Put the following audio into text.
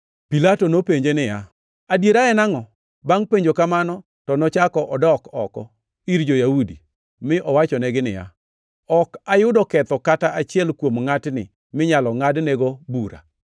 Pilato nopenje niya, “Adiera en angʼo?” Bangʼ penjo kamano to nochako odok oko ir jo-Yahudi, mi owachonegi niya, “Ok ayudo ketho kata achiel kuom ngʼatni minyalo ngʼadnego bura.